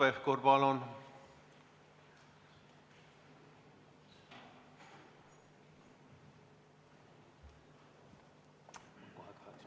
Hanno Pevkur, palun!